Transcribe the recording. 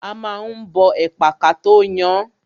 A ma ń bọ ẹ̀pà kató yan án.